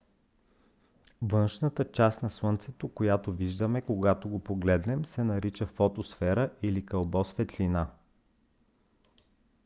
външната част на слънцето която виждаме когато го гледаме се нарича фотосфера или кълбо светлина